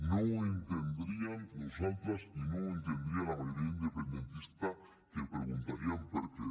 no ho entendríem nosaltres i no ho entendria la majoria independentista que preguntarien per què